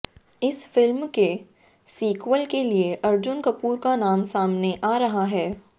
इस फिल्म के सीक्वल के लिए अर्जुन कपूर का नाम सामने आ रहा है